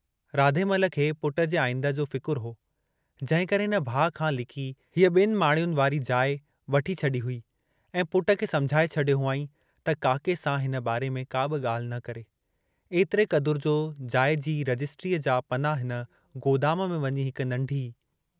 राधेमल खे पुट जे आईंदह जो फिकुरू हो, जंहिंकरे हिन भाउ खां लिकी हीअ ॿिनि माड़ियुनि वारि जाइ वठी छड़ी हुई ऐं पुट खे समुझाए छॾियो हुआईं त काके सां हिन बारे में काबि ॻाल्हि न करे, ऐतरे क़दुरु जो जाइ जी रजिस्ट्रीअ जा पना हिन गोदाम में वञी हिक नंढी